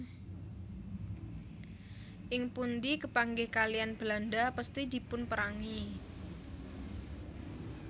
Ing pundi kepanggih kaliyan Belanda pesthi dipunerangi